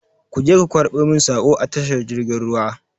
Ku je ku karɓo min saƙo a tashar jirgin ruwa!